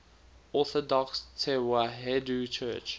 orthodox tewahedo church